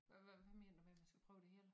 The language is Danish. Hvad hvad hvad mener du med vi skal prøve det hele